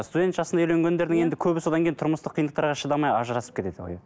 студент жасында үйленгендердің енді көбі содан кейін тұрмыстық қиындықтарға шыдамай ажырасып кетеді ғой